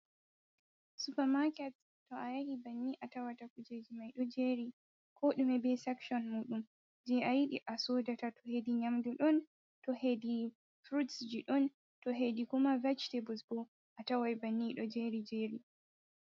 Supamaket to a yahi banni a tawata kujeji mai ɗo jeri ko dume be sekshon muɗum, je a yiɗi a sodata, to hedi nyamdu ɗon ,to hedi furutsji ɗon, to hedi kuma vejitabuls bo a tawai banni ɗo jeri jeri.